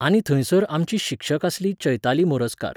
आनी थंयसर आमची शिक्षक आसली चैताली मोरजकार.